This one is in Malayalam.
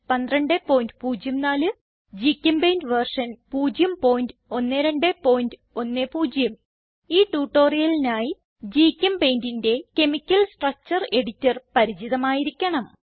1204 ഗ്ചെമ്പെയിന്റ് വെർഷൻ 01210 ഈ ട്യൂട്ടോറിയലിനായി GChemPaintന്റെ കെമിക്കൽ സ്ട്രക്ചർ എഡിറ്റർ പരിചിതമായിരിക്കണം